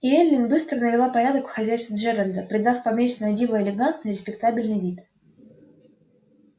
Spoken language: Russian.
и эллин быстро навела порядок в хозяйстве джералда придав поместью на диво элегантный и респектабельный вид